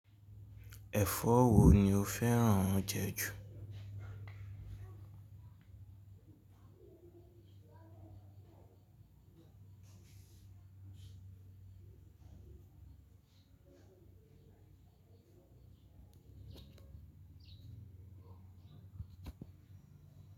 Ẹ̀fọ́ wo ni o fẹ́ràn jẹ ju?